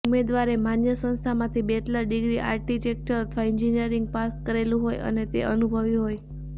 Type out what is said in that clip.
ઉમેદવારએ માન્ય સંસ્થામાંથી bachelor degree architecture અથવા એન્જિનિયરિંગ પાસ કરેલુ હોય અને તે અનુભવી હોય